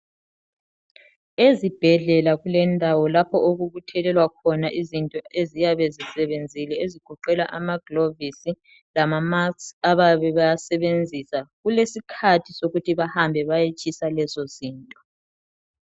Ezibhedlela kulendawo lapho okubuthelelwa khona izinto eziyabe zisebenzile. Ezigoqela amaglovisi, lama-mask, abayabe, bewasebenzisa. Kulesikhathi sokuthi, bahambe, bayetshisa lezizinto.